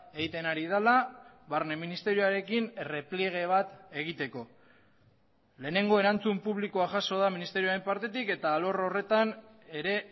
egiten ari dela barne ministerioarekin errepliege bat egiteko lehenengo erantzun publikoa jaso da ministerioaren partetik eta alor horretan ere